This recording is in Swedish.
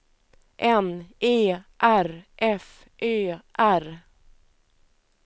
N E R F Ö R